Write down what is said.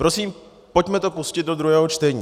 Prosím, pojďme to pustit do druhého čtení.